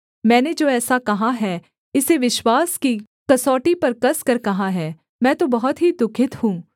मैंने जो ऐसा कहा है इसे विश्वास की कसौटी पर कसकर कहा है मैं तो बहुत ही दुःखित हूँ